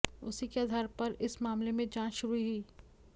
उसी के आधार पर इस मामले में जांच शुरू हुई